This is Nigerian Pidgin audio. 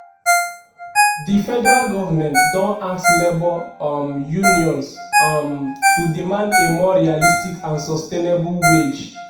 di federal government don ask labour um unions um to demand a more realistic and sustainable wage.